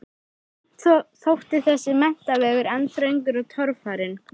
Samt þótti þessi menntavegur enn þröngur og torfarinn.